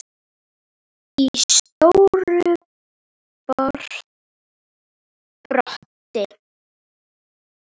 í stóru broti.